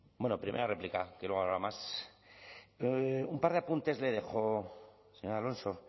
bueno primera réplica que luego habrá más un par de apuntes le dejo señor alonso